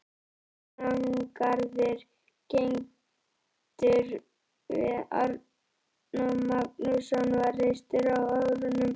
Árnagarður, kenndur við Árna Magnússon, var reistur á árunum